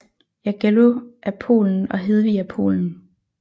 Jagello af Polen og Hedvig af Polen